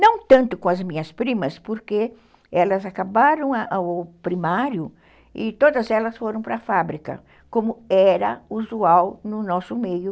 Não tanto com as minhas primas, porque elas acabaram o primário e todas elas foram para a fábrica, como era usual no nosso meio.